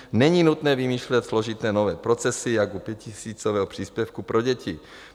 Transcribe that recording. Není nutné vymýšlet složité nové procesy jako u pětitisícového příspěvku pro děti.